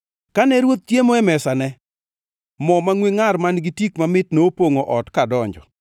Kane ruoth chiemo e mesane, mo mangʼwe ngʼar man-gi tik mamit nopongʼo ot kadonjo.